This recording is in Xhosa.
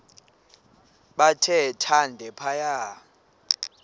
bathe thande phaya